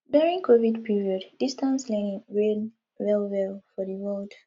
during covid period distance learning reign well well for di world